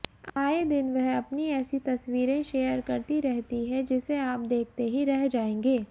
आए दिन वह अपनी ऐसी तस्वीरें शेयर करती रहती हैं जिसे आप देखतेेही रह जायेंगे